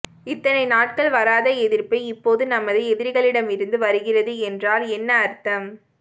இத்தனை நாட்கள் வராத எதிர்ப்பு இப்போது நமது எதிரிகளிடமிருந்து வருகிறது என்றால் என்ன அர்த்தம்